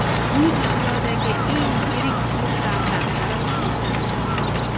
Bu dunyodagi eng yirik klublardan biri hisoblanadi.